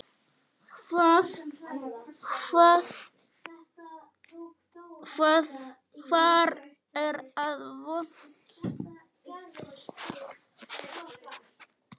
Hvar er það vont?